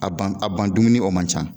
A ban a ban dumuni o man can.